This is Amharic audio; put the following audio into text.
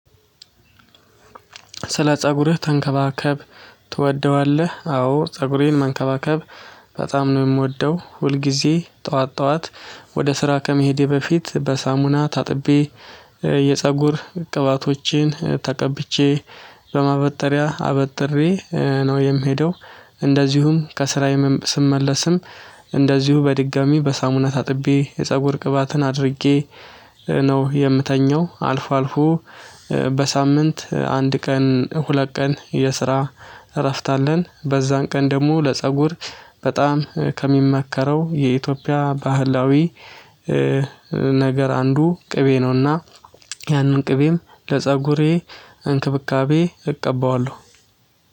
ስለ ፀጉርህ ተንከባከብ ትወደዋለህ? አዎ ፀጉሬን መንከባከብ በጣም ነው የምወደው። ሁልጊዜ ጠዋት ጠዋት ወደ ስራ ከመሄዴ በፊት በሳሙና ታጥቤ የፀጉር ቅባቶችን ተቀብቼ በማበጠሪያ አበጥሬ ነው የምሄደው። እንደዚሁም ከስራየም ስመለስም እንደዚሁ በድጋሚ በሳሙና ታጥቤ የፀጉር ቅባትን አድርጌ ነው የምተኘው። አልፎ አልፎ በሳምንት አንድ ቀን ሁለት ቀን የስራ እረፍት አለን። በዛን ቀን ደግሞ ለፀጉር በጣም ከሚመከረው የኢትዮጵያ ባህላዊ ነገር አንዱ ቅቤ ነውና። ያንን ቅቤም ለፀጉሬ እንክብካቤ እቀበዋለሁ